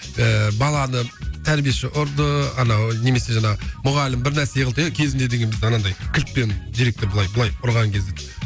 ыыы баланы тәрбиеші ұрды анау немесе жаңағы мұғалім бірнәрсе қылды кезінде деген біз анандай кілтпен директор былай былай ұрған кезде